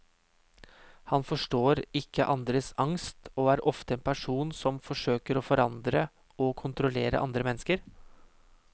Han forstår ikke andres angst, og er ofte en person som ønsker å forandre og kontrollere andre mennesker.